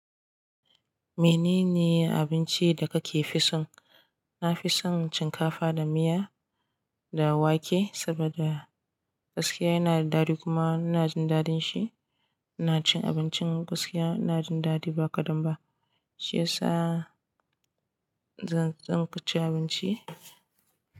Menene abinci da kake fi san? Na fi son shinkafa da miya da wake saboda gaskiya yana da daɗi kuma ina jin daɗin shi. Ina cin abincin gaskiya, ina jin daɗi ba kadan ba. Shi yasa zan tsinka cin abinci.